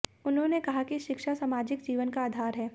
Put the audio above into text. उन्होंने कहा कि शिक्षा सामाजिक जीवन का आधार है